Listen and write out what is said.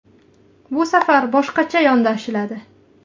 Bu safar boshqacha yondashiladi.